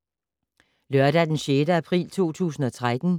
Lørdag d. 6. april 2013